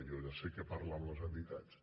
jo ja sé que parla amb les entitats